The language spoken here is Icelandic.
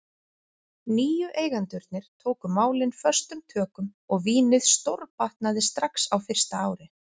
Nýju eigendurnir tóku málin föstum tökum og vínið stórbatnaði strax á fyrsta ári.